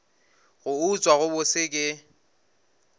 go utswa go bose ke